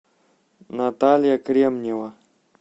наталья кремнева